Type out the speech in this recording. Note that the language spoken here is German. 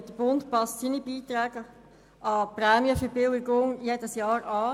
Der Bund passt seine Beiträge an die Prämienverbilligung jedes Jahr an.